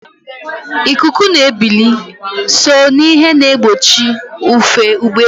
Ikuku na ebili so n'ihe na-egbochi ufe ụgbọelu.